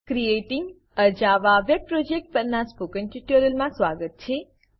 creating a Java web project પરનાં spoken ટ્યુટોરીયલમાં સ્વાગત છે